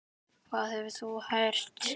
Hvað hefur þú heyrt?